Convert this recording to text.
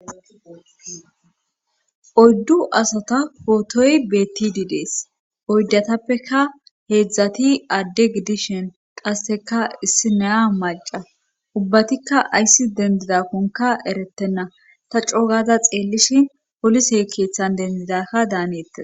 oddu asata pootoy betididees oydatappeka heedzdzati adde gidishin qasseka issi neya maca ubbatikka ayssi dendidakkonka erettenna ta coogaza xeellishi polisey keeththan dendidakka daaneettea